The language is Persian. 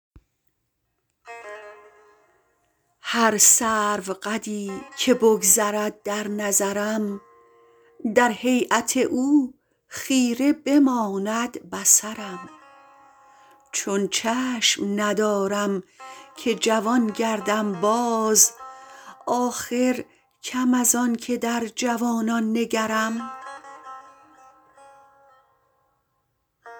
هر سروقدی که بگذرد در نظرم در هیأت او خیره بماند بصرم چون چشم ندارم که جوان گردم باز آخر کم از آنکه در جوانان نگرم